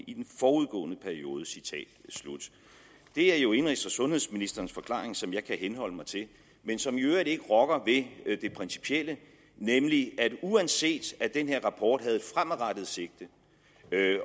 i den forudgående periode det er jo indenrigs og sundhedsministerens forklaring som jeg kan henholde mig til men som i øvrigt ikke rokker ved det principielle nemlig at uanset at den her rapport havde et fremadrettet sigte